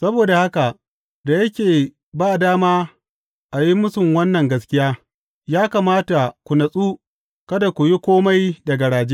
Saboda haka, da yake ba dama a yi mūsun wannan gaskiya, ya kamata ku natsu kada ku yi kome da garaje.